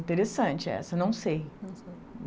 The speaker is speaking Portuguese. Interessante essa, não sei.